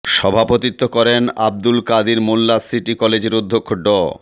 সভাপতিত্ব করেন আবদুল কাদির মোল্লা সিটি কলেজের অধ্যক্ষ ড